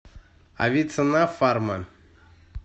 авиценна фарма